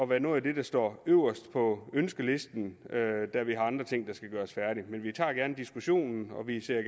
være noget af det der står øverst på ønskelisten da vi har andre ting der skal gøres færdige men vi tager gerne diskussionen og vi ser